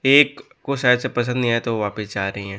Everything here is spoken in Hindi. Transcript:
एक को शायद से पसंद नहीं आया तो वह वापस जा रही है।